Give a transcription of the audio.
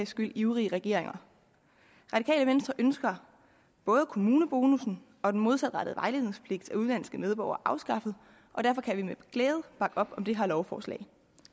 skyld ivrige regeringer radikale venstre ønsker både kommunebonussen og den modsatrettede vejledningspligt af udenlandske medborgere afskaffet og derfor kan vi med glæde bakke op om det her lovforslag